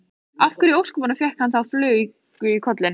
Af hverju í ósköpunum fékk hann þá flugu í kollinn?